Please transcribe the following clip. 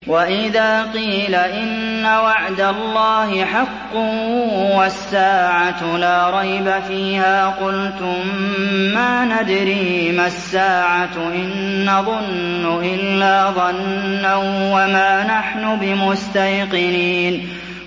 وَإِذَا قِيلَ إِنَّ وَعْدَ اللَّهِ حَقٌّ وَالسَّاعَةُ لَا رَيْبَ فِيهَا قُلْتُم مَّا نَدْرِي مَا السَّاعَةُ إِن نَّظُنُّ إِلَّا ظَنًّا وَمَا نَحْنُ بِمُسْتَيْقِنِينَ